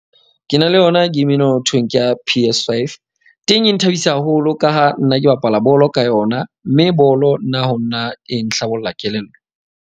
Ke na le yona game eno ho thweng ke ya P_S5. Teng e nthabisa haholo ka ha nna ke bapala bolo ka yona. Mme bolo nna ho nna e nhlabolla kelello.